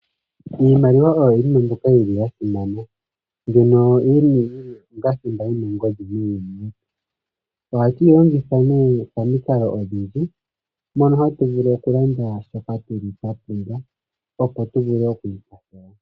Iimaliwa oyo yimwe mbyoka mbyoka yili yasimana mbyono yili onga thimba yina ongodhi muuyuni. Oha tuyi longitha nee pamikalo odhindji mono hatu vulu okulanda shoka twapumbwa opo tuvule oku ikwathela.